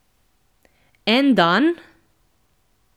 En dan?